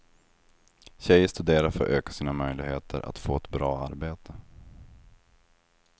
Tjejer studerar för att öka sina möjligheter att få ett bra arbete.